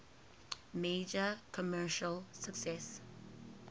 major commercial success